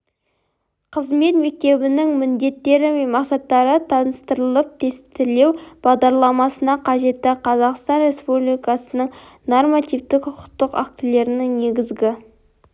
қызмет мектебінің міндеттері мен мақсаттары таныстырылып тестілеу бағдарламасына қажетті қазақстан республикасының нормативтік құқықтық актілерінің негізгі